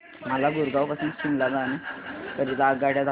मला गुरगाव पासून शिमला जाण्या करीता आगगाड्या दाखवा